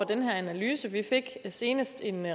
den her analyse vi fik senest en